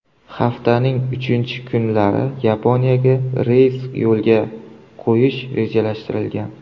Haftaning uchinchi kunlari Yaponiyaga reys yo‘lga qo‘yish rejalashtirilgan.